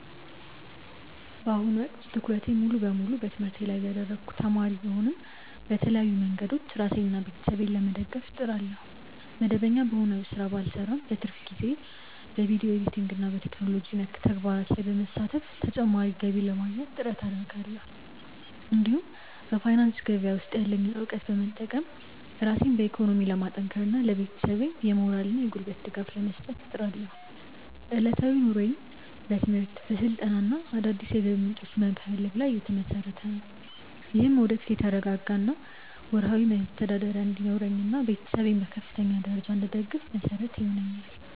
በአሁኑ ወቅት ትኩረቴን ሙሉ በሙሉ በትምህርቴ ላይ ያደረግኩ ተማሪ ብሆንም፣ በተለያዩ መንገዶች ራሴንና ቤተሰቤን ለመደገፍ እጥራለሁ። መደበኛ በሆነ ሥራ ባልሰማራም፣ በትርፍ ጊዜዬ በቪዲዮ ኤዲቲንግና በቴክኖሎጂ ነክ ተግባራት ላይ በመሳተፍ ተጨማሪ ገቢ ለማግኘት ጥረት አደርጋለሁ። እንዲሁም በፋይናንስ ገበያ ውስጥ ያለኝን እውቀት በመጠቀም ራሴን በኢኮኖሚ ለማጠናከርና ለቤተሰቤም የሞራልና የጉልበት ድጋፍ ለመስጠት እጥራለሁ። ዕለታዊ ኑሮዬም በትምህርት፣ በስልጠናና አዳዲስ የገቢ ምንጮችን በመፈለግ ላይ የተመሰረተ ነው። ይህም ወደፊት የተረጋጋ ወርሃዊ መተዳደሪያ እንዲኖረኝና ቤተሰቤን በከፍተኛ ደረጃ እንድደግፍ መሰረት ይሆነኛል።